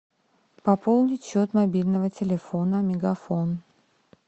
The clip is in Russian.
пополнить счет мобильного телефона мегафон